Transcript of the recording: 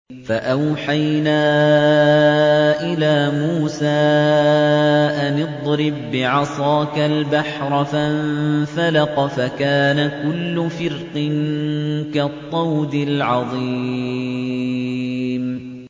فَأَوْحَيْنَا إِلَىٰ مُوسَىٰ أَنِ اضْرِب بِّعَصَاكَ الْبَحْرَ ۖ فَانفَلَقَ فَكَانَ كُلُّ فِرْقٍ كَالطَّوْدِ الْعَظِيمِ